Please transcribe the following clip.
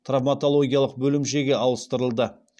травматологиялық бөлімшеге ауыстырылды